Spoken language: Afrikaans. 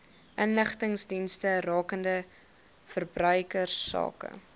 inligtingsdienste rakende verbruikersake